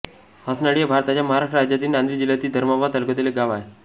हसनाळी हे भारताच्या महाराष्ट्र राज्यातील नांदेड जिल्ह्यातील धर्माबाद तालुक्यातील एक गाव आहे